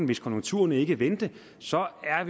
hvis konjunkturerne ikke vendte så er